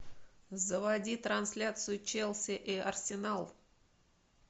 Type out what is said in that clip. заводи трансляцию челси и арсенал